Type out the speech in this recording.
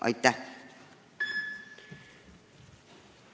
Aitäh!